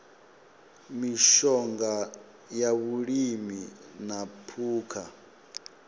mishonga ya vhulimi na phukha